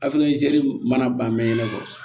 mana ban mɛn ɲɛnɛ kɔ